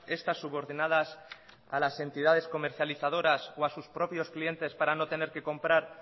estas subordinadas a las entidades comercializadoras o a sus propios clientes para no tener que comprar